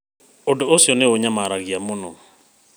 Ũndũ ũcio nĩ ũnyamaragia mũno.